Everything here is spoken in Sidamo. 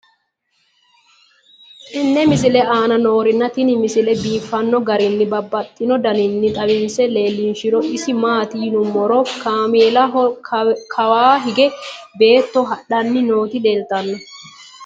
tenne misile aana noorina tini misile biiffanno garinni babaxxinno daniinni xawisse leelishanori isi maati yinummoro kameellaho kawa hiige beetto hadhanni nootti leelittanno